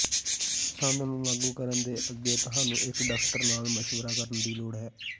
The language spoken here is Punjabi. ਸੰਦ ਨੂੰ ਲਾਗੂ ਕਰਨ ਦੇ ਅੱਗੇ ਤੁਹਾਨੂੰ ਇੱਕ ਡਾਕਟਰ ਨਾਲ ਮਸ਼ਵਰਾ ਕਰਨ ਦੀ ਲੋੜ ਹੈ